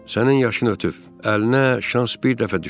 Sənin yaşın ötüb, əlinə şans bir dəfə düşüb.